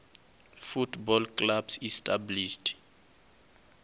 football clubs established